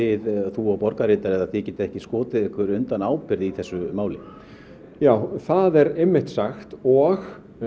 þú og borgarritari getið ekki skotið ykkur undan ábyrgð í þessu máli það er einmitt sagt og